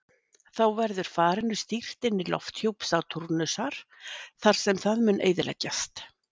Þá verður farinu stýrt inn í lofthjúp Satúrnusar þar sem það mun eyðileggjast.